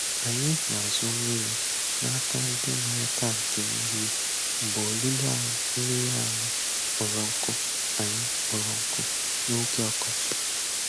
Anyị na-azụ mmiri na-aka ndị nwere tankị mmiri mgbe olulu mmiri anyị kpọrọ nkụ anyị kpọrọ nkụ n'oge ọkọchị.